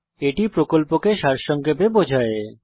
এটি প্রকল্পকে সারসংক্ষেপে বোঝায়